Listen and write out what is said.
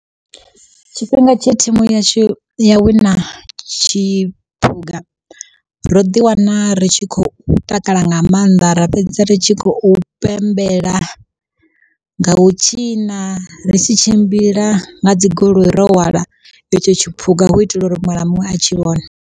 Tshifhinga tshe thimu yashu ya wina tshiphuga, ro ḓi wana ri tshi khou takala nga maanḓa ra fhedza ri tshi khou pembela, ngau tshina ri tshi tshimbila nga dzi goloi ro hwala itsho tshiphuga hu itela uri muṅwe na muṅwe a tshi vhone.